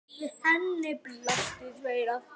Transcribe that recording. Við henni blasa tveir aftur